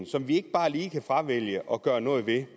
som vi ikke bare lige kan fravælge og gøre noget ved